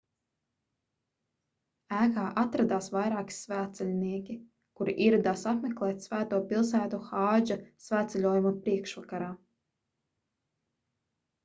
ēkā atradās vairāki svētceļnieki kuri ieradās apmeklēt svēto pilsētu hādža svētceļojuma priekšvakarā